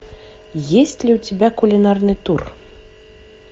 есть ли у тебя кулинарный тур